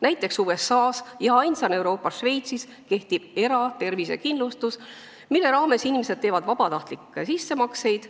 " Näiteks, USA-s ja ainsana Euroopas Šveitsis kehtib eratervisekindlustus, mille raames inimesed teevad vabatahtlikke sissemakseid.